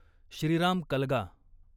Shriram Kalga